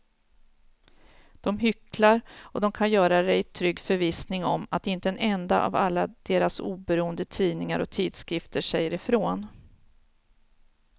De hycklar och de kan göra det i trygg förvissning om att inte en enda av alla deras oberoende tidningar och tidskrifter säger ifrån.